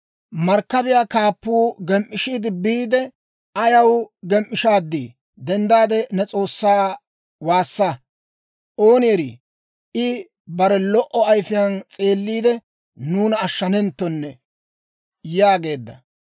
Markkabiyaa kaappuu gem"ishaad biide, «Ayaw gem"ishaaddii? Dendda, ne s'oossaa woossa! Ooni erii, I bare lo"o ayfiyaan s'eelliide, nuuna ashshanaawenttone» yaageedda.